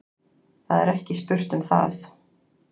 Það er ekki spurt um það.